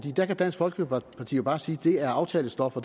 der kan dansk folkeparti jo bare sige at det er aftalestof og